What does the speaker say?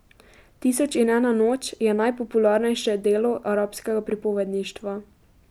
Tisoč in ena noč je najpopularnejše delo arabskega pripovedništva.